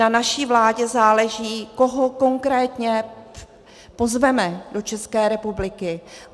Na naší vládě záleží, koho konkrétně pozveme do České republiky.